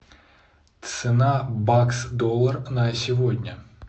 цена бакс доллар на сегодня